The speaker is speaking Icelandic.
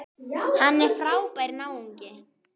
Hann er frábær náungi.